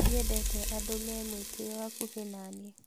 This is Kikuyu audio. Ndiendete andũ me mwĩtĩo hakuhĩ naniĩ